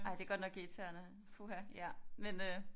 Ej det godt nok irriterende puha ja men øh